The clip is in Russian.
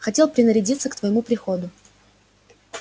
хотел принарядиться к твоему приходу